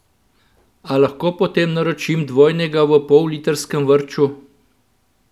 A lahko potem naročim dvojnega v pollitrskem vrču?